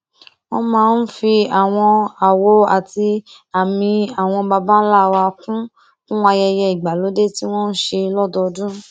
wón máa ń fi àwọn àwò àti àmì àwọn babańlá wọn kún kún ayẹyẹ ìgbàlódé tí wọn n ṣe lódọọdún